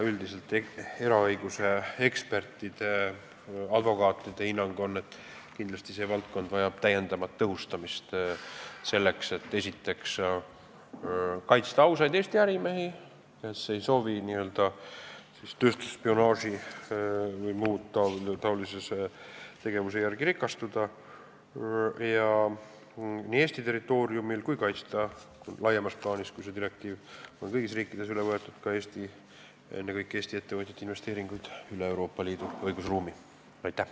Üldiselt on eraõiguse ekspertide, advokaatide hinnang, et kindlasti vajab see valdkond täiendavat tõhustamist, selleks et kaitsta ausaid Eesti ärimehi, kes ei soovi tööstusspionaaži või muu taolise tegevusega rikastuda, seda nii Eesti territooriumil kui ka laiemas plaanis, kui see direktiiv on kõigis riikides üle võetud, sh Eestis, ning kaitsta ennekõike Eesti ettevõtjate investeeringuid üle Euroopa Liidu õigusruumi.